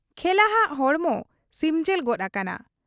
ᱠᱷᱮᱞᱟᱦᱟᱜ ᱦᱚᱲᱢᱚ ᱥᱤᱢᱡᱤᱞ ᱜᱚᱫ ᱟᱠᱟᱱᱟ ᱾